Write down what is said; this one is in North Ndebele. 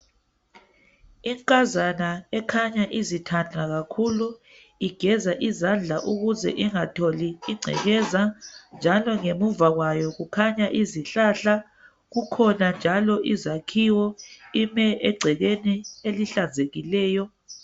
Inkazana ekhanya izithada kakhulu igeza izandla ukuze ingatholi ingcekeza njalo ngemuva kwayo kukhanya izihlahla kukhona njalo izakhiwo ime egcekeni elihlanzekileyo.